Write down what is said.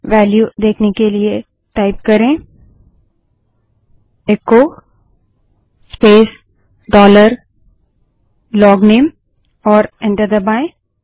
value देखने के लिए टाइप करे इको स्पेस डॉलर लोगनेम और एंटर दबायें